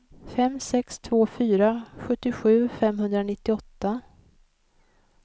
fem sex två fyra sjuttiosju femhundranittioåtta